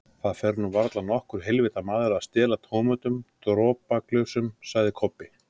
Það fer nú varla nokkur heilvita maður að stela tómum dropaglösum, sagði Kobbi.